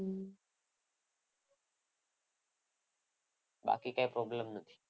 બાકી કંઈ problem નથી.